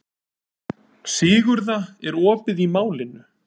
Sigurða, er opið í Málinu?